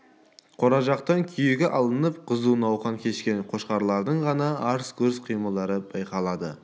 қора жақтан күйегі алынып қызу науқан кешкен қошқарлардың ғана арсы-гүрсі қимылдары байқалады